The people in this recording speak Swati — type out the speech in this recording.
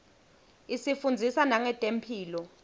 isifundzisa nangetemphilo